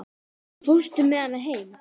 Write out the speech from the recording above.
Fórstu með hana heim?